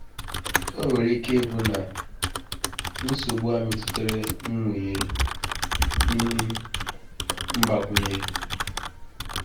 Ò nwere ike ịbụ na nsogbu a metụtara mmụnye um mgbakwunye?”